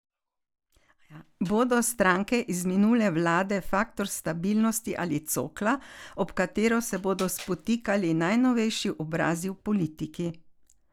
Bodo stranke iz minule vlade faktor stabilnosti ali cokla, ob katero se bodo spotikali najnovejši obrazi v politiki?